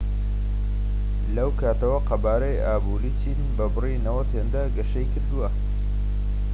لەو کاتەوە، قەبارەی ئابووری چین بە بڕی 90 هێندە گەشەی کردووە‎